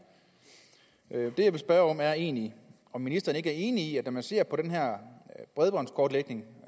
det jeg vil spørge om er egentlig om ministeren ikke er enig i at når man ser på den her bredbåndskortlægning